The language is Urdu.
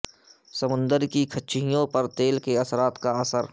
سمندر کی کچھیوں پر تیل کے اثرات کا اثر